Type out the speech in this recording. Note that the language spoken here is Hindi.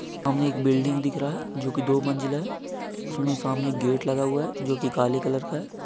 आमने एक बिल्डिंग दिख रहा है जोकि दो मंजिला है उसमे सामने एक गेट लगा हुआ है जोकि काले कलर का है।